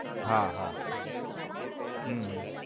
હા, હા. હમ